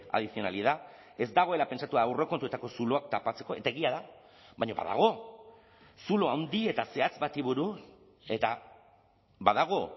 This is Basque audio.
adicionalidad ez dagoela pentsatua aurrekontuetako zuloak tapatzeko eta egia da baina badago zulo handi eta zehatz bati buruz eta badago